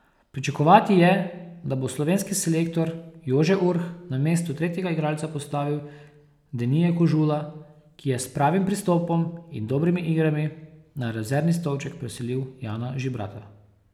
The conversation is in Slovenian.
Pričakovati je, da bo slovenski selektor Jože Urh na mesto tretjega igralca postavil Denija Kožula, ki je s pravim pristopom in dobrimi igrami na rezervni stolček preselil Jana Žibrata.